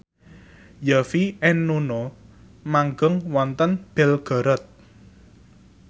Yovie and Nuno manggung wonten Belgorod